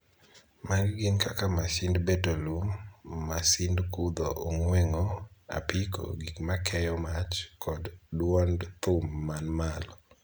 Magi gin kaka masind beto lum, masind kudho ong'ueng'o, apiko, gik makeyo mach, kod duond thum man malo.